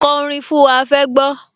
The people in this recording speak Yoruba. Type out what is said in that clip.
Ko orin fún wa, a fẹ́ gbọ́